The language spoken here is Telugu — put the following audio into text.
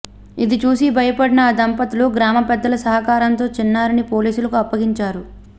ఇది చూసి భయపడిన ఆ దంపతులు గ్రామపెద్దల సహకారంతో చిన్నారిని పోలీసులకు అప్పగించారు